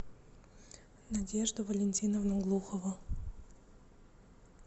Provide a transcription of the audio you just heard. надежду валентиновну глухову